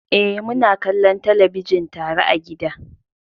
Eh, muna kallon talabijin tare a gida.